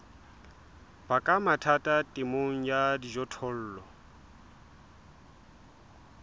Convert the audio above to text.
baka mathata temong ya dijothollo